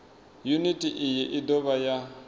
yuniti iyi i dovha ya